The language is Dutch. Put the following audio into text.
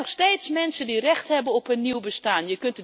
Het zijn nog steeds mensen die recht hebben op een nieuw bestaan.